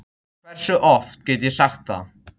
Hversu oft get ég sagt það?